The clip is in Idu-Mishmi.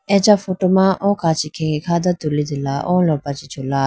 acha photo ma o kachi khege kha tulitegala o lopra chee chula.